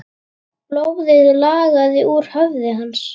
Blóðið lagaði úr höfði hans.